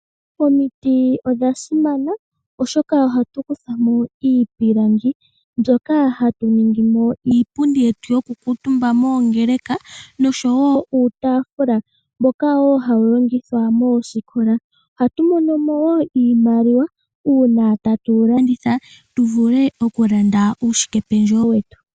Omiti odha simana oshoka ohatu kutha mo iipilangi mbyoka hatu ningi mo iipundi yetu yoku kuutumba moongeleka, noshowo uutaafula mboka wo hawu longithwa moosikola. Ohatu mono mo woo iimaliwa uuna tatu landitha tu vule okulanda uushikependjewo wetu.